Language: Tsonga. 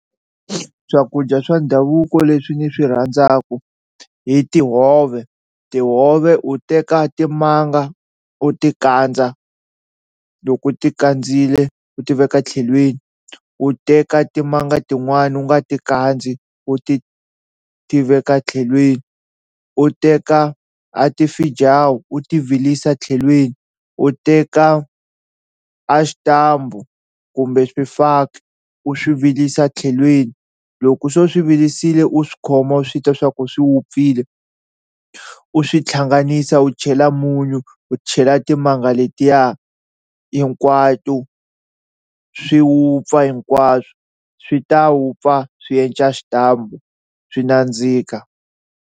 Swakudya swa ndhavuko leswi ni swi rhandzaku i tihove tihove u teka timanga u ti kandza loko u ti khandziyile u ti veka tlhelweni u teka timanga tin'wani u nga ti kandzi u ti ti veka etlhelweni u teka a ti fijawu u ti virisa tlhelweni, u teka a xitambu kumbe swifaki u swi vilisa etlhelweni loko so u swi vilisiwile u swi khoma u swi twa swa ku swi wupfile u swi hlanganisa u chela munyu u chela timanga letiya hinkwato swi wupfa hinkwaswo swi ta wupfa swi endla xitambu swi nandzika.